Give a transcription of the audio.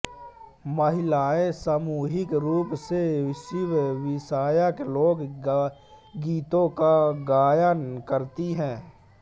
महिलाएं सामूहिक रूप से शिवविषयक लोक गीतों का गायन करती हैं